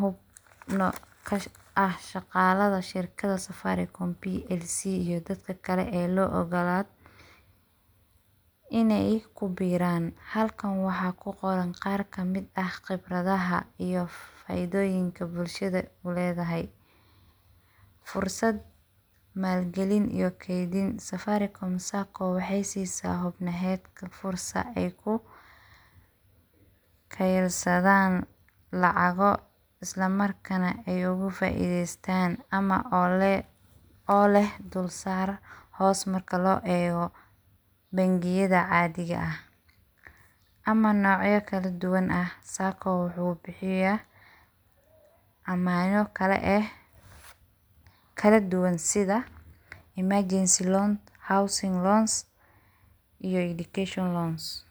hubnaa shaqalada shirkada safaricom PLC iyo dadka kale lo ogalado iney kubiraan, halkan waxaa kuqoran qaar kamid ah khibradaha iyo faidoyiinka bulshada uledahay .fursad, maalgalin iyo keydin ,safaricom sacco waxey siisaa xubnahedka fursad ay kukeysadaan lacago isla markana ay oga faideystaan ama oo leh dulsaar hoos markii loo eego bangiyad caadiga ah ama noocyada kaladuwan ah, sacco wuxuu bixiyaa ama iyado kale ah, kaladuwan sida emergency loans, housing loans iyo education loans.